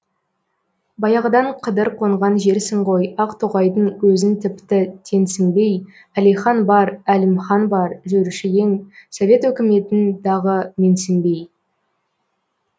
баяғыдан қыдыр қонған жерсің ғой ақтоғайдың өзін тіпті теңсінбей әлихан бар әлімхан бар жүруші ең совет өкіметін дағы менсінбей